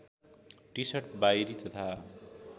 T-shirt बाहिरी तथा